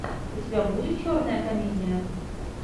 у тебя будет черная комедия